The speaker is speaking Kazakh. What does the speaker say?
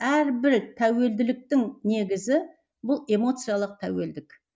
әрбір тәуелділіктің негізі бұл эмоциялық тәуелдік